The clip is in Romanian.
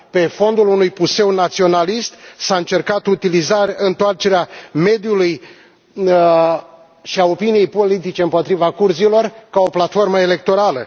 Pe fondul unui puseu naționalist, s a încercat întoarcerea mediului și a opiniei politice împotriva kurzilor, ca o platformă electorală.